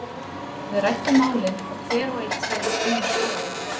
Við ræddum málin og hver og einn sagði sína skoðun.